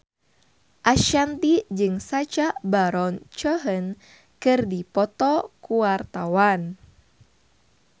Ashanti jeung Sacha Baron Cohen keur dipoto ku wartawan